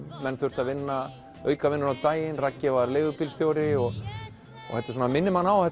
menn þurftu að vinna aukavinnu á daginn Raggi var leigubílstjóri þetta minnir mann á að